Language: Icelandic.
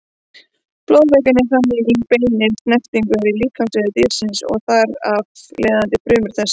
Blóðvökvinn er þannig í beinni snertingu við líkamsvefi dýrsins og þar af leiðandi frumur þess.